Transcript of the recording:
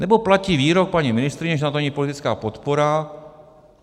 Nebo platí výrok paní ministryně, že na to není politická podpora.